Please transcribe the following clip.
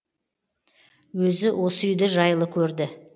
өзі осы үйді жайлы көрді